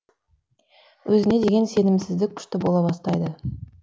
өзіне деген сенімсіздік күшті бола бастайды